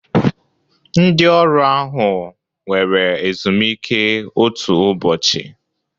Ndị ọrụ ahụ were ezumike otu ụbọchị